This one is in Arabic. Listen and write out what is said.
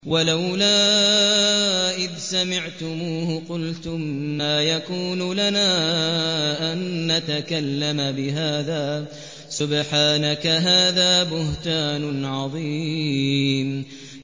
وَلَوْلَا إِذْ سَمِعْتُمُوهُ قُلْتُم مَّا يَكُونُ لَنَا أَن نَّتَكَلَّمَ بِهَٰذَا سُبْحَانَكَ هَٰذَا بُهْتَانٌ عَظِيمٌ